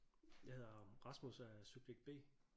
Jeg hedder Rasmus og jeg er subjekt B